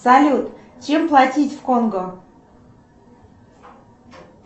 салют чем платить в конго